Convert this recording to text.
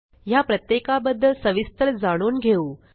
ह्या प्रत्येकाबद्दल सविस्तर जाणून घेऊ